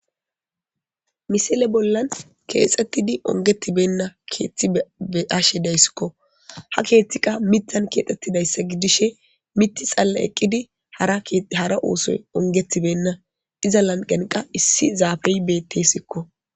misile bollan keexettidi ongetibenna keethti beashe dayssikko ha keeththiqa mitan kiexxettidayssa gidishe miti xalla eqqidi hara oosoy ongettibenna iza lanqen qa issi zaafey bettesikko